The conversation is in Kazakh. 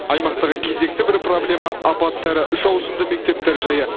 аймақтағы кезекті бір проблема апатты әрі үш ауысымды мектептер жайы